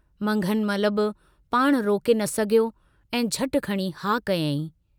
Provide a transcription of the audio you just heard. मंघनमलु बि पाणु रोके न सघियो ऐं झट खणी हा कयाईं।